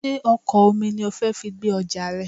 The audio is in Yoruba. Sé ọkọ̀ omi ni o fi fẹ́ gbé ọjà rẹ?